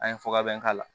An ye foga bɛɛ k'a la